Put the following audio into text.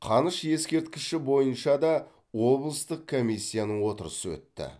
қаныш ескерткіші бойынша да облыстық комиссияның отырысы өтті